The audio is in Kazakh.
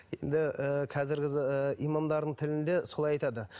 енді ыыы қазіргі ы имамдардың тілінде солай айтады